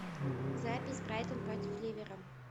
запись брайтон против ливера